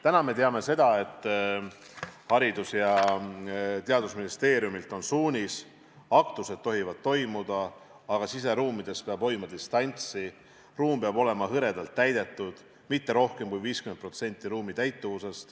Täna me teame, et Haridus- ja Teadusministeeriumilt on tulnud suunis: aktused tohivad toimuda, aga siseruumides peab hoidma distantsi, ruum peab olema hõredalt täidetud, st mitte rohkem kui 50%.